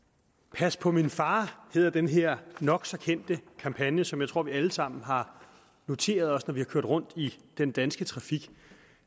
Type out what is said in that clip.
pas på min far hedder den her nok så kendte kampagne som jeg tror vi alle sammen har noteret os når vi har kørt rundt i den danske trafik